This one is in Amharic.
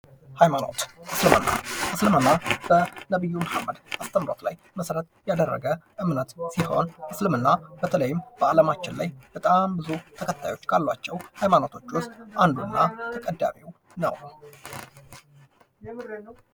ሃይማኖት እስልምና፤ እስልምና በነቢዩ መሀመድ አስተምሮት ላይ መሰረት ያደረገ እምነት ሲሆን እስልምና በተይም በአለማችን ላይ በጣም ብዙ ተከታዮች ያሏቸው ሃይማኖቶች ውስጥ አንዱ እና ተቀዳሚው ነው።